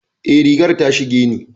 Eh, rigar ta shige ni.